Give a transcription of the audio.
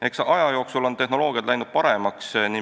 Eks aja jooksul on tehnoloogiad paremaks läinud.